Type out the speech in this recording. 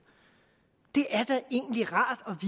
det er da egentlig rart at